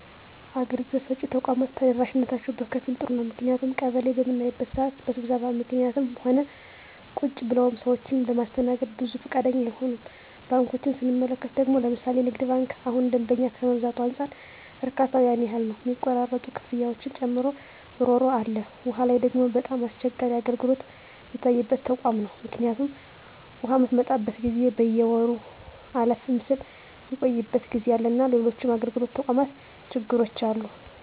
አገልግሎት ሰጭ ተቋማት ተደራሽነታቸው በከፊል ጥሩ ነው ምክንያቱም ቀበሌ በምናይበት ስዓት በስብሰባ ምክኒትም ሆነ ቁጭ ብለውም ሰዎችን ለማስተናገድ ብዙ ፈቃደኛ አይሆኑም። ባንኮችን ስንመለከት ደግሞ ለምሣሌ ንግድ ባንክ እሁን ደንበኛ ከመብዛቱ አንፃር እርካታው ያን ያህል ነው ሚቆራረጡ ክፍያዎችን ጨምሮ እሮሮ አለ። ዉሃ ላይ ደግሞ በጣም አስቸጋሪ አገልግሎት ሚታይበት ተቋም ነው ምክኒቱም ውሃ ምትመጣበት ጊዜ በየወሩ አለፍም ስል ሚቆይበት ጊዜ አለና ሎሎችም የአገልግሎት ተቋማት ችግሮች አሉ።